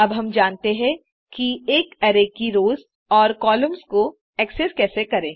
अब हम जानते हैं कि एक अरै की रोस और कॉलम्स को एक्सेस कैसे करें